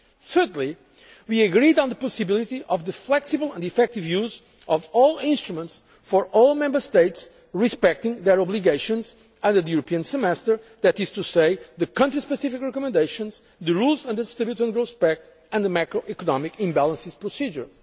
the ESM. Thirdly, we agreed on the possibility of the flexible and effective use of all instruments for all Member States respecting their obligations under the European semester, that is to say the country specific recommendations, the rules under the Stability and Growth Pact and the macro economic imbalances procedure.